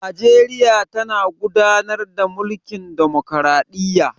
Najeriya tana gudanar da mulkin ɗamakraɗiyya.